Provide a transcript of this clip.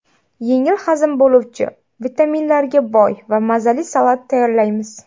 Yengil hazm bo‘luvchi, vitaminlarga boy va mazali salat tayyorlaymiz.